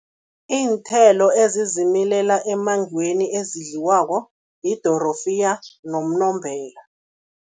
Iinthelo ezizimilela emmangweni, ezidliwako, yidorofiya nomnombela.